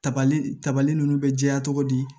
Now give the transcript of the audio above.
Tabali tabali ninnu bɛ jɛya cogo di